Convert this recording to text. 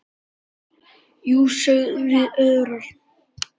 Jú, sögðum við örar.